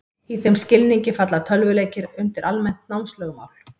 Í þeim skilningi falla tölvuleikir undir almennt námslögmál.